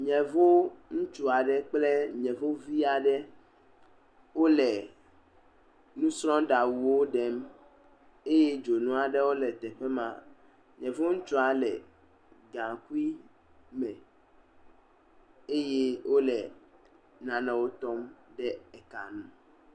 Yevu ŋutsu aɖe kple yevuvi aɖe wole nusrɔɖaŋuwo ɖem eye dzonu aɖewo le teƒe ma, yevu ŋutsua le gaŋkui me eye wole nanewo tɔm ɖe eka nu.